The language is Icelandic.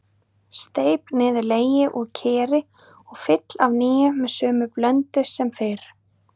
Steyp niður legi úr keri og fyll af nýju með sömu blöndu sem fyrr.